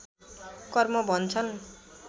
कर्म भन्छन्